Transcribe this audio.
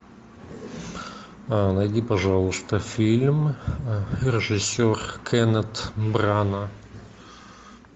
найди пожалуйста фильм режиссер кеннет брана